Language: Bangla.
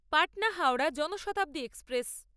পাটনা হাওড়া জনশতাব্দী এক্সপ্রেস